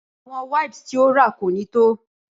Awọn wipes ti o ra ko ni to.